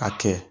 A kɛ